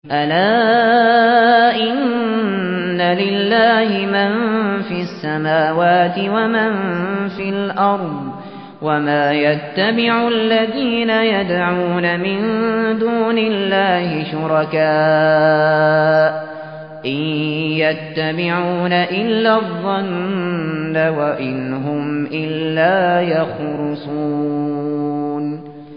أَلَا إِنَّ لِلَّهِ مَن فِي السَّمَاوَاتِ وَمَن فِي الْأَرْضِ ۗ وَمَا يَتَّبِعُ الَّذِينَ يَدْعُونَ مِن دُونِ اللَّهِ شُرَكَاءَ ۚ إِن يَتَّبِعُونَ إِلَّا الظَّنَّ وَإِنْ هُمْ إِلَّا يَخْرُصُونَ